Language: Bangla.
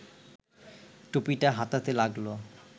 টুপিটা হাতাতে লাগল